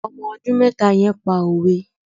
Ọmọ ọdún mẹ́ta yẹn pa òwe.